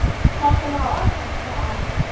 Þetta má orða svo að